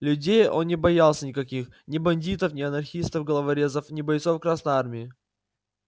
людей он не боялся никаких ни бандитов не анархистов-головорезов ни бойцов красной армии